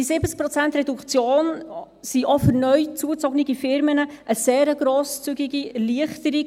Diese Reduktion von 70 Prozent ist auch für neu zugezogene Firmen eine sehr grosszügige Erleichterung.